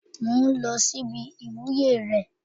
Mò ń lọ sí ibi ìwúyè rẹ̀